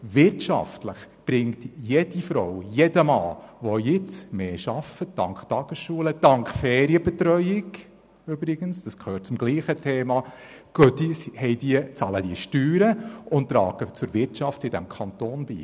Wirtschaftlich bringen Frauen und Männer, die dank Tagesschulen und übrigens auch dank Ferienbetreuung mehr arbeiten, höhere Steuereinnahmen und tragen zur Wirtschaft in diesem Kanton bei.